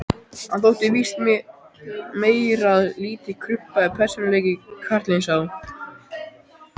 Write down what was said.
Hann þótti víst meir en lítið krumpaður persónuleiki, karlinn sá.